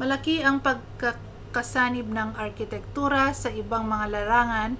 malaki ang pagkakasanib ng arkitektura sa ibang mga larangan